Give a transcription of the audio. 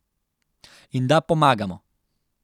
In da pomagamo.